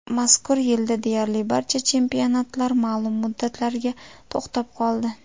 Mazkur yilda deyarli barcha chempionatlar ma’lum muddatlarga to‘xtab qoldi.